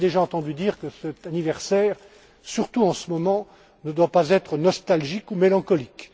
On avait déjà entendu dire que cet anniversaire, surtout en ce moment, ne doit pas être nostalgique ou mélancolique.